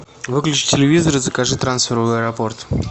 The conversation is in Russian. выключи телевизор и закажи трансфер в аэропорт